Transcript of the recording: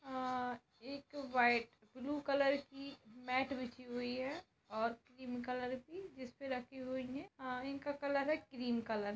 अअअ एक white blue colour की मेट बिछी हुई है और क्रीम कलर की इस पर रखी हुई है और इनका कलर है क्रीम कलर ।